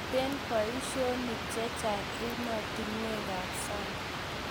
Mite boishonik checheng' emotunuekab sang